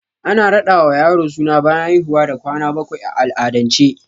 Ana raɗa ma yaro suna bayan haihuwa da kwana bakwai a al'adance